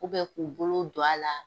k'u bolo don a la.